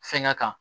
Fɛnkɛ kan